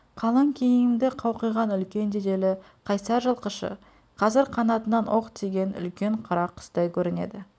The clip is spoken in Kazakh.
қалың киімді қауқиған үлкен денелі қайсар жылқышы қазір қанатынан оқ тиген үлкен қара құстай көрінеді